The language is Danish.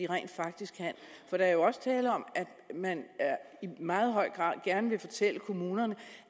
rent faktisk kan der er jo også tale om at man i meget høj grad gerne vil fortælle kommunerne